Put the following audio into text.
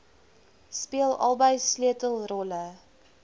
speel albei sleutelrolle